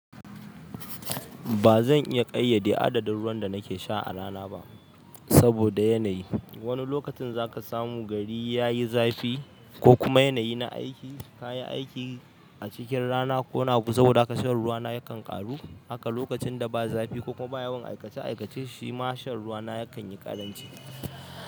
Ba zan iya ƙayyade adadin ruwan da nake sha a rana ba saboda yanayi. Wani lokacin zaka samu gari yayi zafi ko kuma yanayi na aiki, ka yi aiki a cikin rana ko nabu saboda haka shan ruwa na yakan ƙaru. Haka lokacin da ba zafi ko kuma ba yawan aikace-aikace shi ma shan ruwa na yakan yi ƙaranci.